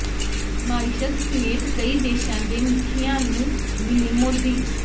Mauritius ਸਮੇਤ ਕਈ ਦੇਸ਼ਾਂ ਦੇ ਮੁਖੀਆਂ ਨੂੰ ਮਿਲੇ ਮੋਦੀ